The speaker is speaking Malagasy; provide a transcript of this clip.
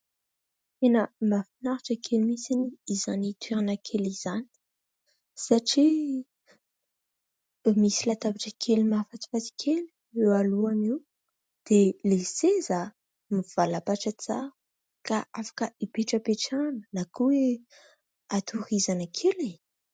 Tena mahafinaritra kely mihitsy izany toerana kely izany, satria misy latabatra kely mahafatifaty kely eo alohany eo, dia ilay seza mivalapatra tsara ka afaka hipetrapetrahana na koa hoe hatorizana kely.